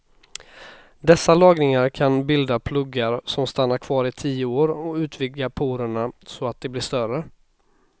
Dessa lagringar kan bilda pluggar som stannar kvar i tio år och utvidga porerna så att de blir större.